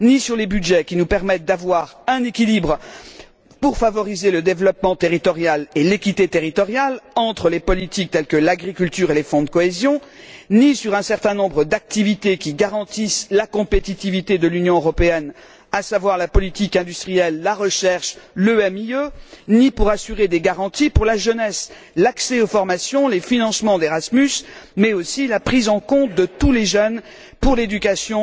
Ni sur les budgets qui nous permettent d'avoir un équilibre pour favoriser le développement territorial et l'équité territoriale, entre les politiques telles que l'agriculture et les fonds de cohésion, ni sur un certain nombre d'activités qui garantissent la compétitivité de l'Union européenne, à savoir la politique industrielle, la recherche, le MIE, ni pour assurer des garanties pour la jeunesse, l'accès aux formations, les financements d'Erasmus, mais aussi la prise en compte de tous les jeunes pour l'éducation